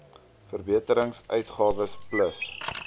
verbeterings uitgawes plus